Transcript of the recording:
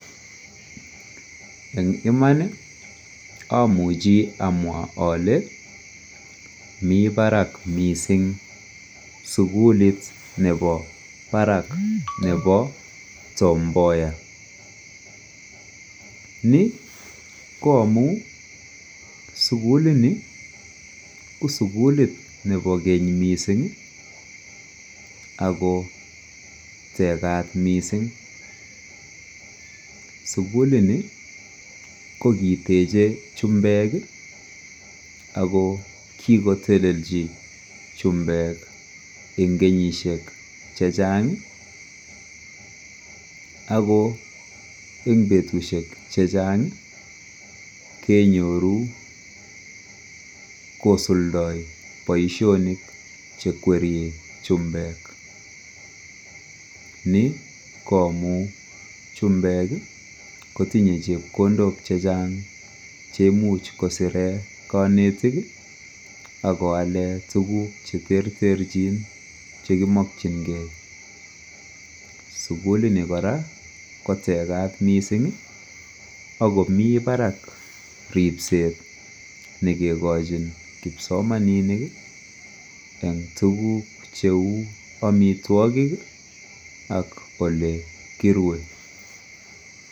en iman iih omuchi amwaa ole, mii barak mising sugulit nebo baraak nebo Tom Mboya, ni ko amuun suguli nii ko sugulit nebo keny mising ago tegaat mising, sugulit ni ko giteche chumbeek iih ago kigotelelchi chumbeek en kenyisyeek chechang, ago en betushek chechang kenyoruu kosuldoo boishonik chekwerie chumbeek, ni ko amuun chumbeek iih kotinye chepkondook chechang chemuuch kosireen konetik iih ak koaleen tuguk cheterterchin chemimokyingee, sugulit ni koraa kotegaat mising ak komii barak ripseet negegochin kipsomaninik en tuguk cheuu omitwogik iih ak ole kirue.